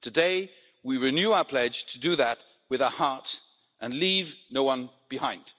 Today, we renew our pledge to do that with our heart and leave no one behind.